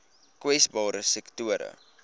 kwesbare sektore